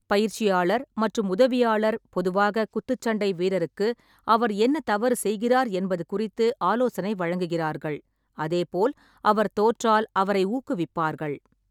பயிற்சியாளர் மற்றும் உதவியாளர் பொதுவாக குத்துச்சண்டை வீரருக்கு அவர் என்ன தவறு செய்கிறார் என்பது குறித்து ஆலோசனை வழங்குகிறார்கள், அதே போல் அவர் தோற்றால் அவரை ஊக்குவிப்பார்கள்.